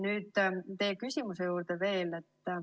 Nüüd veel teie küsimuse juurde.